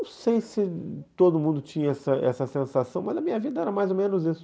Não sei se todo mundo tinha essa essa sensação, mas na minha vida era mais ou menos isso.